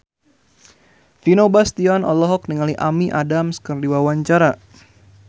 Vino Bastian olohok ningali Amy Adams keur diwawancara